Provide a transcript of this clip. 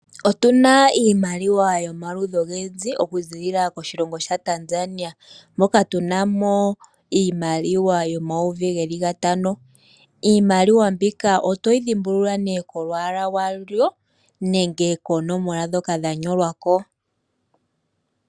Otuna iimaliwa yomaludhi ogendji oku zilila koshilongo sha Tanzania, moka tunamo iimaliwa yomayovi geli gatano, iimaliwa mbika otoyi dhimbulula née kolwaala lwayo nenge koonomola ndhoka dha nyolwako.